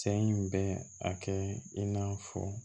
Saɲ bɛ a kɛ i n'a fɔ